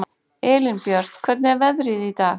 Elínbjört, hvernig er veðrið í dag?